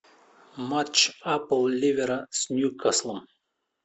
матч апл ливера с ньюкаслом